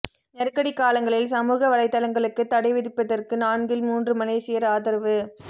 நெருக்கடிக் காலங்களில் சமூக வலைத்தளங்களுக்குத் தடை விதிப்பதற்கு நான்கில் மூன்று மலேசியர் ஆதரவு